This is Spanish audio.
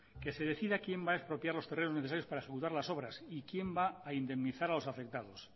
que se decida quién va a expropiar los terrenos necesarios para ejecutar las obras y quién va a indemnizar a los afectados